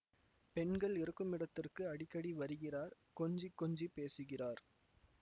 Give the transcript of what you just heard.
பெண்கள் இருக்குமிடத்திற்கு அடிக்கடி வருகிறார் கொஞ்சிக் கொஞ்சிப் பேசுகிறார்